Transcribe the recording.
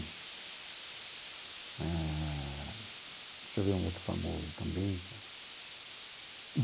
Eh deixa eu ver um outro famoso também.